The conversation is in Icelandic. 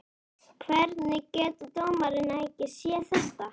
Hvernig getur dómarinn ekki séð þetta?